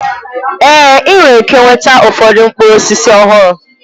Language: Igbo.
Ee! Ị nwere ike nweta ụfọdụ mkpụrụ osisi ọhụrụ.